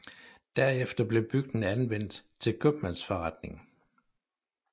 Derefter blev bygningen anvendt til købmandsforretning